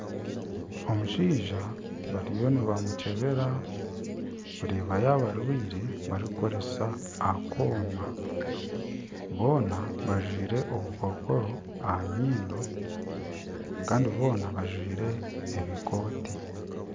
Omushaija bariyo nibamukyebera kureba yaba arwaire barikukoresa akoma boona bajwire obukokoro aha nyindo Kandi boona bajwire ebikooti.